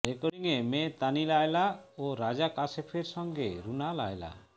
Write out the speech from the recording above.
রেকর্ডিংয়ে মেয়ে তানি লায়লা ও রাজা কাশেফের সঙ্গে রুনা লায়লা